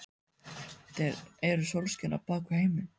Þeir eru sólskinið á bak við heiminn.